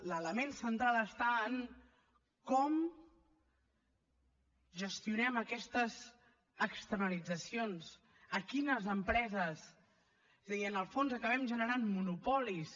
l’element central està en com gestionem aquestes externalitzacions a quines empreses és a dir en el fons acabem generant monopolis